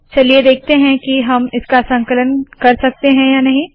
चलिए देखते है की हम इसका संकलन कर सकते है या नहीं